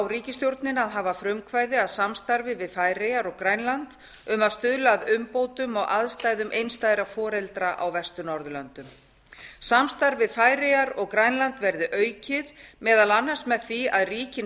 ríkisstjórnina að hafa frumkvæði að samstarfi við færeyjar og grænland um að stuðla að umbótum á aðstæðum einstæðra foreldra á vestur norðurlöndum samstarf við færeyjar og grænland verði aukið meðal annars með því að ríkin